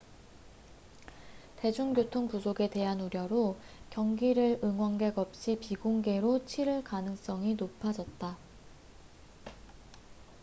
대중교통 부족에 대한 우려로 경기를 응원객 없이 비공개로 치를 가능성이 높아졌다